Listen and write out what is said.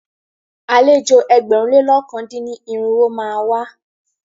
Àlejò ẹgbẹ̀rún lé lọ̀kan dín ní irinwó má a wá.